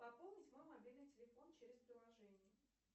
пополнить мой мобильный телефон через приложение